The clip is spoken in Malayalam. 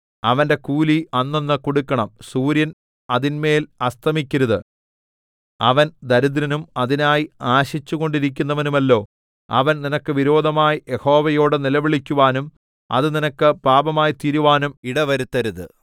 അവന്റെ കൂലി അന്നന്ന് കൊടുക്കണം സൂര്യൻ അതിന്മേൽ അസ്തമിക്കരുത് അവൻ ദരിദ്രനും അതിനായി ആശിച്ചുകൊണ്ടിരിക്കുന്നവനുമല്ലോ അവൻ നിനക്ക് വിരോധമായി യഹോവയോടു നിലവിളിക്കുവാനും അത് നിനക്ക് പാപമായിത്തീരുവാനും ഇടവരുത്തരുത്